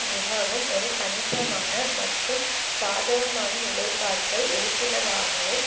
மிகவும் ஒரு கணிசமான மற்றும் சாதகமான நிலைப்பாட்டை எடுத்துள்ளதாகவும்